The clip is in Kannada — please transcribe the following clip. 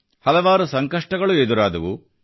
ಹಲವಾರು ಸಂಕಷ್ಟಗಳು ಎದುರಾದವು